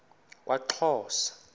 kwaxhosa